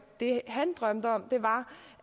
det han drømte om var